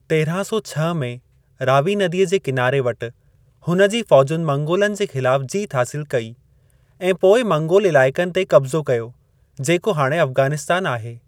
तेरहां सौ छह में, रावी नदीअ जे किनारे वटि हुन जी फ़ौजुनि मंगोलनि जे ख़िलाफ़ जीत हासिल कई ऐं पोइ मंगोल इलाइक़नि ते कब्ज़ो कयो, जेको हाणे अफ़ग़ानिस्तान आहे।